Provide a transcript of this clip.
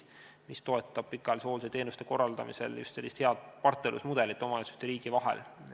See süsteem toetab pikaajalise hoolduse teenuse korraldamisel eelkõige head partnerlusmudelit omavalitsuste ja riigi vahel.